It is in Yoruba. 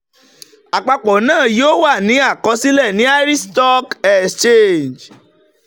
àpapọ̀ náà yóò wà ní àkọsílẹ̀ ní irish stock exchange